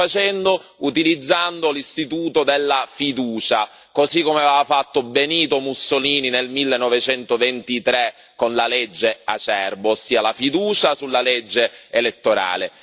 Lo sta facendo utilizzando l'istituto della fiducia, così come aveva fatto Benito Mussolini nel 1923 con la legge Acerbo, ossia la fiducia sulla legge elettorale.